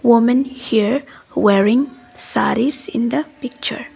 women here wearing sarees in the picture.